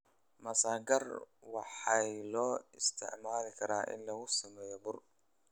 Masagaar waxay loo isticmaali karaa in lagu sameeyo bur.